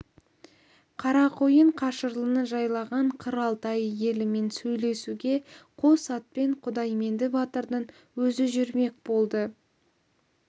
қарақойын қашырлыны жайлаған қыр алтайы елімен сөйлесуге қос атпен құдайменді батырдың өзі жүрмек болды